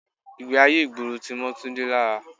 Ìgbé ayé ìgboro tí mọ́ Túndé lára.